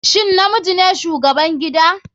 Shin namiji ne shugaban gida/